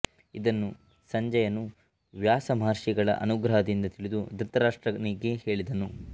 ಇದನ್ನು ಸಂಜಯನು ವ್ಯಾಸ ಮಹರ್ಷಿಗಳ ಅನುಗ್ರಹದಿಂದ ತಿಳಿದು ಧೃತರಾಷ್ಟ್ರನಿಗೆ ಹೇಳಿದನು